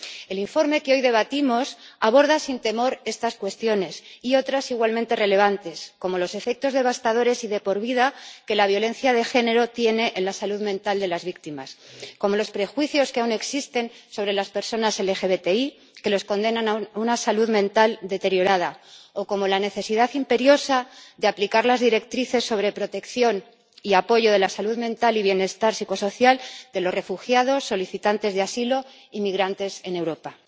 El informe que hoy debatimos aborda sin temor estas cuestiones y otras igualmente relevantes, como los efectos devastadores y de por vida que la violencia de género tiene en la salud mental de las víctimas, como los prejuicios que aún existen sobre las personas LGBTI y que las condenan a una salud mental deteriorada o como la necesidad imperiosa de aplicar las directrices sobre protección y apoyo de la salud mental y bienestar psicosocial de los refugiados, solicitantes de asilo y migrantes en Europa.